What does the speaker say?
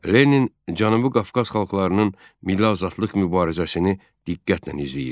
Lenin Cənubi Qafqaz xalqlarının milli azadlıq mübarizəsini diqqətlə izləyirdi.